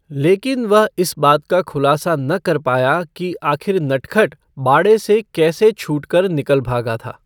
लेकिन वह इस बात का खुलासा न कर पाया कि आखिर नटखट बाड़े से कैसे छूटकर निकल भागा था।